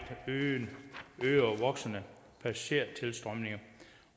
øgede og voksende passagertilstrømning